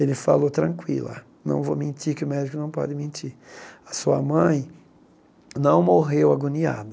Ele falou, tranquila, não vou mentir que o médico não pode mentir, a sua mãe não morreu agoniada.